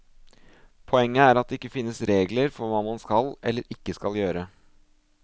Poenget er at det ikke finnes regler for hva man skal eller ikke skal gjøre.